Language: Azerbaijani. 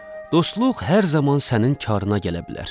Dostluq hər zaman sənin karına gələ bilər.